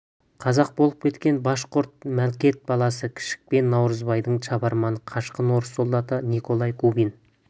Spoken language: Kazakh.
қазақ болып кеткен башқұрт мәлкет баласы кішік пен наурызбайдың шабарманы қашқын орыс солдаты николай губин